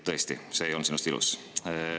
Tõesti, see ei olnud sinust ilus.